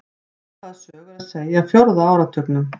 Svipaða sögu er að segja af fjórða áratugnum.